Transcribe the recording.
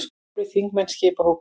Fjórir þingmenn skipa hópinn.